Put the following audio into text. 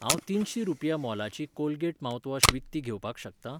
हांव तिनशी रुपया मोलाची कोलगेट माउथवॉश विकती घेवपाक शकता?